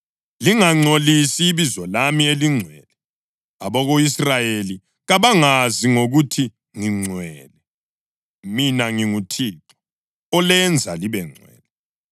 Lingangcolisi ibizo lami elingcwele. Abako-Israyeli kabangazi ngokuthi ngingcwele. Mina nginguThixo olenza libengcwele,